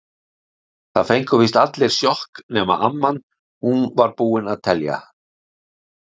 Það fengu víst allir sjokk- nema amman, hún var búin að telja.